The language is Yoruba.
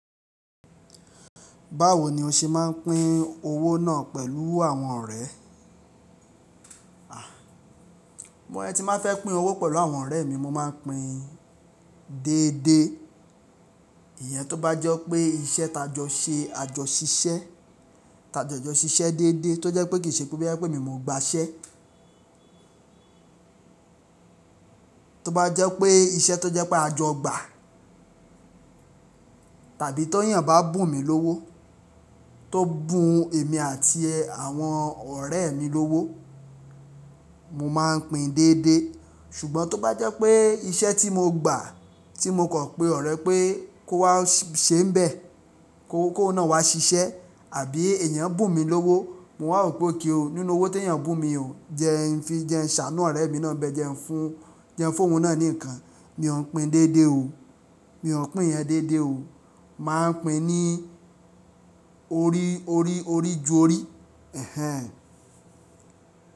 Báwo ni o ṣe máa ń pín owó náà pẹ̀lú àwọn ọ̀rẹ́? Bí mo ti máa fẹ́ pín owó pẹ̀lú àwọn ọ̀rẹ́ mi, mo máa ń pín déédéé. Ìyẹn tó bá jẹ́ pé iṣẹ́ ta jọ ṣe, a jọ ṣiṣẹ́, ta jọ jọ ṣiṣẹ́ déédéé tó jẹ́ pé kì í ṣe pé bíi pé mi, mo gba iṣẹ́. Tó bá jẹ́ pé iṣẹ́ tó jẹ́ pé a jọ gbà tàbí tó yàn bá bùn mi lówó, tó bùn èmi àti àwọn ọ̀rẹ́ mi lówó, mo máa ń pín déédéé. Ṣùgbọ́n tó bá jẹ́ pé iṣẹ́ tí mo gbà, tí mo kọ̀ pé ọ̀rẹ́ pé kó wá ṣe ń bẹ̀, kó, kó náà wá ṣiṣẹ́ àbí èèyàn bùn mi lówó, mo wà wípé okay o, nínú owó tí èèyàn bùn mi, jẹ́ ẹ fi jẹ́ ṣàánú ọ̀rẹ́ mi náà bẹ́ẹ̀ jẹ́ ń fún, jẹ́ ń fún òun náà ní ǹkan. Mi ò ń pín déédéé o. Mi ò ń pín ẹ déédéé o. Màá ń pín ní orí, orí, orí ju orí. Ẹ̀hẹn.